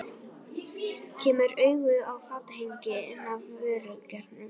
Kemur auga á fatahengi inn af vörulagernum.